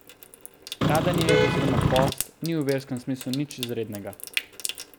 Stradanje oziroma post ni v verskem smislu nič izrednega.